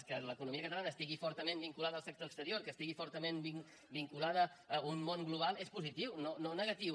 que l’economia catalana estigui fortament vinculada al sector exterior que estigui fortament vinculada a un món global és positiu no negatiu